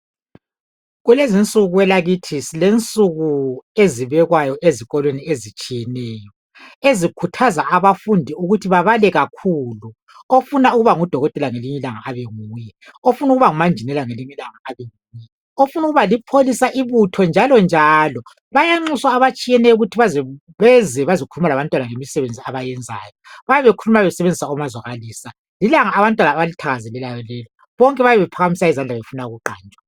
Kulezinsuku kwelakithi silensuku ezibekwayo ezikolweni ezitshiyeneyo ezikhuthaza abafundi ukuthi babale kakhulu, ofuna ukuba ngudokotela ngelinye ilanga abenguye, ofuna ukuba ngumanjinela abenguye, ofuna ukuba lipholisa ibuthonnjalonjalo. Bayancuswa abatshiyeneyo ukuthi beze bazokhuluma labantwana ngemisebenzi abayenzayo. Babaekhuluma besebenzisa omazwakalisa. Lilanga bantwana abalithakazwlelayo leli, bonke bayabe bephakamisa izandla befuna ukuqanjwa.